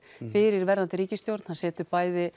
fyrir verðandi ríkisstjórn hann setur